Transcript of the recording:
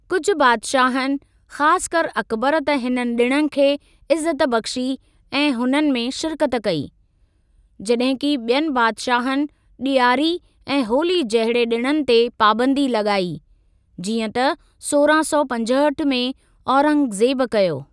कुझ बादशाहनि, ख़ासकर अकबर त हिन ॾिणनि खे इज्‍ज़त बख्‍शी ऐं हुननि में शिरकत कई, जॾहिं कि ॿियनि बादशाहनि ॾियारी ऐं होली जहिड़े ॾिणनि ते पाबंदी लॻाई, जींअं त सोरहं सौ पंजहठि में औरंगज़ेब कयो।